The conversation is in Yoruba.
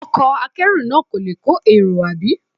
Ọkọ̀ akẹ́rù náà kò le kọ́ èrò, àbí?